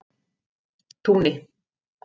Túni